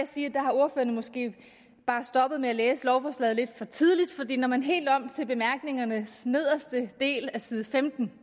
sige at ordførerne måske er stoppet med at læse lovforslaget lidt for tidligt for når man helt om til bemærkningernes nederste del af side femten